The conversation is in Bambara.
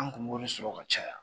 An kun b'o de sɔrɔ ka caya